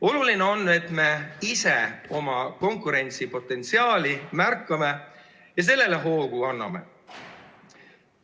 Oluline on, et me ise oma konkurentsipotentsiaali märkame ja sellele hoogu anname.